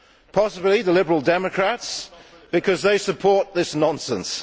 Possibly the Liberal Democrats, because they support this nonsense!